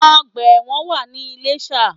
Ọgbà ẹ̀wọ̀n wà ní Iléshà